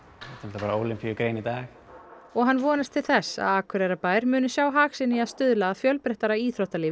bara Ólympíugrein í dag og hann vonast til þess Akureyrarbær muni sjá hag sinn í að stuðla að fjölbreyttara íþróttalífi í